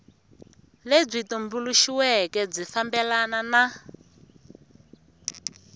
lebyi tumbuluxiweke byi fambelana na